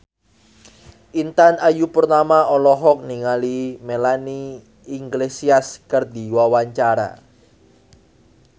Intan Ayu Purnama olohok ningali Melanie Iglesias keur diwawancara